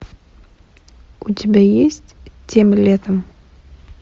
у тебя есть тем летом